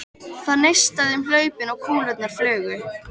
Það neistaði um hlaupin og kúlurnar flugu.